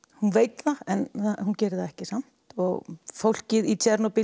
hún veit það en hún gerir það ekki samt og fólkið